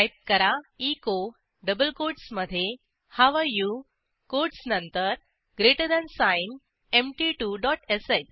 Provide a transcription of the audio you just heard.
type करा echo double कोटसमधे how are you quotes नंतर ग्रेटर थान साइन empty2श